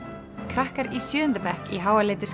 krakkar í sjöunda bekk í